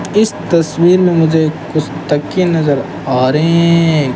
इस तस्वीर में मुझे कुछ तकिए नजर आ रहे हैं।